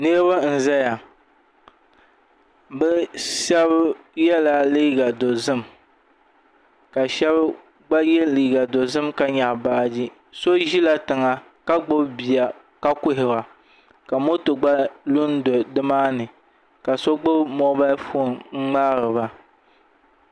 Niraba n ʒɛya bi shab yɛla liiga dozim ka shab gba yɛ liiga dozim ka nyaɣi baaji so ʒila tiŋa ka gbubi bia ka kuhura ka moto gba lu n do nimaani ka so gbubi moobal foon n ŋmaariba